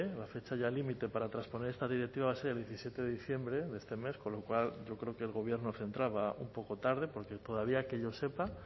la fecha ya límite para trasponer estas directivas era el diecisiete de diciembre de este mes con lo cual yo creo que el gobierno central va un poco tarde porque todavía que yo sepa